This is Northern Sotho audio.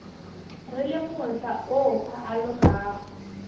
re le mohla o alogago